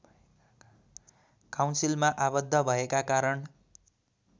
काउन्सिलमा आबद्ध भएका कारण